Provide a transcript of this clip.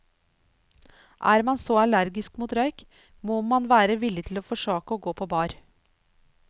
Er man så allergisk mot røyk, må man være villig til å forsake å gå på bar.